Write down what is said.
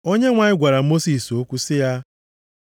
Onyenwe anyị gwara Mosis okwu sị ya,